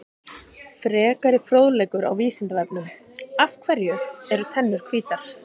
Frekari fróðleikur á Vísindavefnum: Af hverju eru tennur hvítar?